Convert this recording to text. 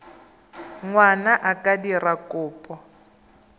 ngwana a ka dira kopo